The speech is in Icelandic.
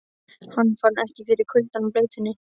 Hann fann ekki fyrir kuldanum og bleytunni.